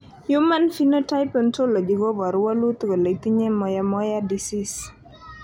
human Phenotype Ontology koporu wolutik kole itinye Moyamoya disease.